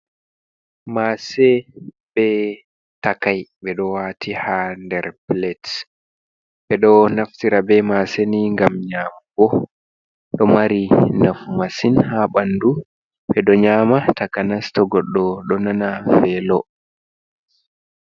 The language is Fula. Masse bee takai, ɓeɗo wati ha nder pilet, ɓeɗo naftira be masseni ngam nyamugo, ɗo mari nafu masin ha ɓanndu, ɓeɗo nyama takanas toh godɗo ɗo nana velo.